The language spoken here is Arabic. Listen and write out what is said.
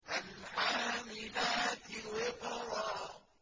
فَالْحَامِلَاتِ وِقْرًا